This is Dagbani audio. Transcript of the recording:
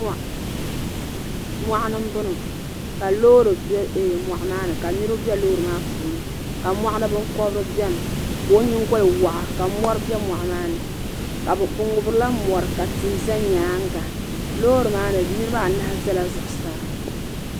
Mɔɣuni n bɔŋɔ ka loori bɛ mɔɣu maa ni ka niriba bɛ loori maa puuni ni ka mɔɣu ni bini kɔbiri bɛni ka o yiŋgoli wɔɣa ka mori bɛ mɔɣu maa ni bi ŋubirila mori ka tihi za yɛanga loori ni niriba anahi zala zuɣusaa.